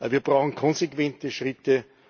Wir brauchen konsequente Schritte.